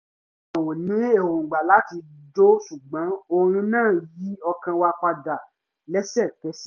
a ò ní erongba láti jó ṣùgbọ́n orin náà yí ọkàn wa padà léṣekẹsẹ̀